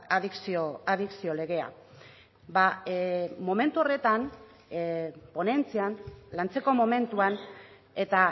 adikzio legea ba momentu horretan ponentzian lantzeko momentuan eta